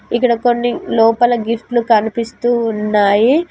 ఇక్కడ కొన్ని లోపల గిఫ్ట్స్ కనిపిస్తూ ఉన్నాయి.